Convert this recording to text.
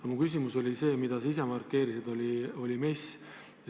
Aga minu küsimus oli MES-i kohta, mida sa ise ka markeerisid.